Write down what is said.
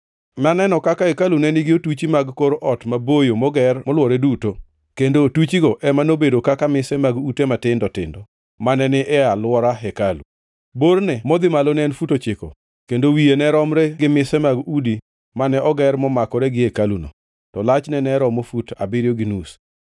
Naneno kaka hekalu ne nigi otuchi mag kor ot maboyo moger molwore duto, kendo otuchigo ema nobedo kaka mise mag ute matindo tindo mane ni e alwora hekalu. Borne modhi malo ne en fut ochiko, kendo wiye ne romre gi mise mag udi mane oger momakore gi hekaluno, to lachne ne romo fut abiriyo gi nus.